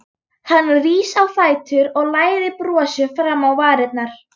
Hann rís á fætur og læðir brosi fram á varirnar.